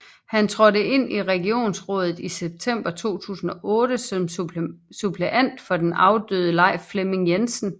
Han trådte ind i regionsrådet i september 2008 som suppleant for den afdøde Leif Flemming Jensen